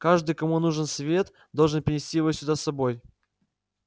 каждый кому нужен свет должен принести его сюда с собой